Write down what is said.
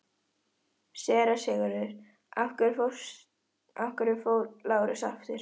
SÉRA SIGURÐUR: Af hverju fór Lárus aftur?